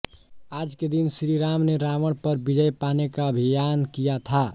आज के दिन श्रीराम ने रावण पर विजय पाने का अभियान किया था